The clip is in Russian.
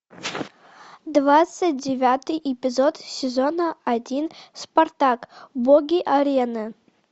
двадцать девятый эпизод сезона один спартак боги арены